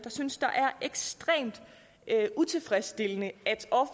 synes er ekstremt utilfredsstillende